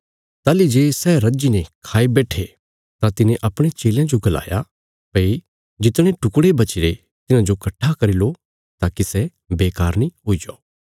ताहली जे सै रज्जीने खाई बैट्ठे तां तिने अपणे चेलयां जो गलाया भई जितने टुकड़े बचीरे तिन्हांजो कट्ठा करी लो ताकि सै बेकार नीं जाओ